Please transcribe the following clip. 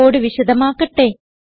code വിശദമാക്കട്ടെ